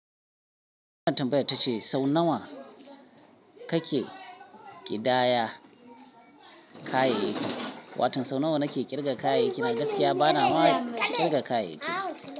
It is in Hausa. Wanna tambayar ta ce sau nawa ka ke ƙidaya kayayyaki? Watau sau nawa na ke ƙirga kayayyaki, a gaskiya bana ma ƙirga kayayyaki.